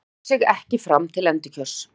Býður sig ekki fram til endurkjörs